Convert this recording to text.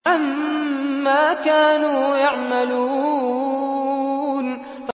عَمَّا كَانُوا يَعْمَلُونَ